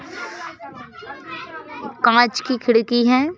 कांच की खिड़की है।